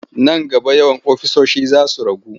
Nan gaba yawan ofisoshi za su ragu.